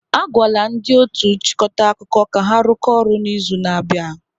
A gwala ndị otu nchịkọta akụkọ ka ha rụkọọ ọrụ n'izu na-abịa.